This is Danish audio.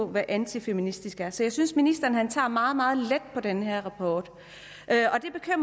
hvad antifeministisk er så jeg synes ministeren tager meget meget let på den her rapport